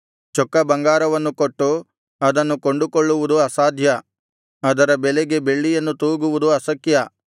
ಚೊಕ್ಕ ಬಂಗಾರವನ್ನು ಕೊಟ್ಟು ಅದನ್ನು ಕೊಂಡುಕೊಳ್ಳುವುದು ಅಸಾಧ್ಯ ಅದರ ಬೆಲೆಗೆ ಬೆಳ್ಳಿಯನ್ನು ತೂಗುವುದು ಅಶಕ್ಯ